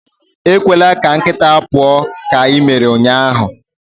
ekwela ka nkịta pụọ ​​ka i mere ụnyahụ!